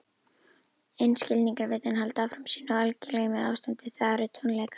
En skilningarvitin halda áfram sínu algleymisástandi, það eru tónleikar.